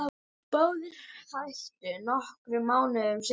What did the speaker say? Báðir hættu nokkrum mánuðum seinna.